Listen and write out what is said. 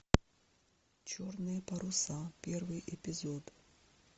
черные паруса первый эпизод